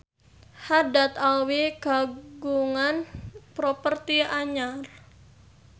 Haddad Alwi kagungan properti anyar